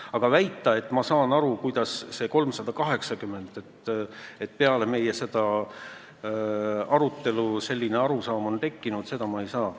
Aga väita, et ma saan aru, kuidas tekkis see 380 miljonit, seda, et peale meie arutelu oleks selline arusaam tekkinud, ma ei saa.